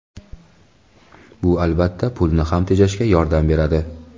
Bu, albatta, pulni ham tejashga yordam beradi.